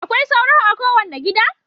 Akwai sauro a kowane gida.